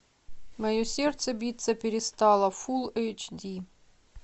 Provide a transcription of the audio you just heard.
мое сердце биться перестало фулл эйч ди